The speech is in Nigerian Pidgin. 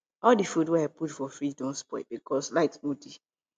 all di food wey i put for fridge don spoil because light no dey